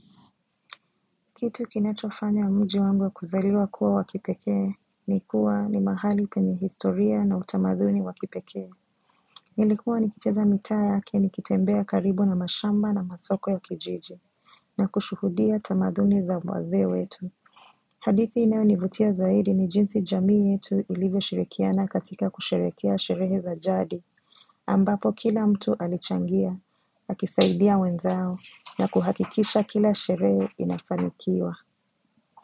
Kitu kinachofanya mji wangu wa kuzaliwa kuwa wa kipekee ni kuwa ni mahali penye historia na utamaduni wa kipekee. Nilikuwa nikicheza mitaa yake nikitembea karibu na mashamba na masoko ya kijiji na kushuhudia tamaduni za wazee wetu. Hadithi inayonivutia zaidi ni jinsi jamii yetu ilivyo shirikiana katika kusherehekea sherehe za jadi ambapo kila mtu alichangia, akisaidia wenzao na kuhakikisha kila sherehe inafanikiwa.